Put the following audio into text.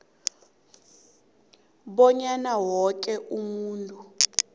bonyana woke umuntu